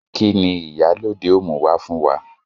Kini Ìyálóde ó mú wá fún wa?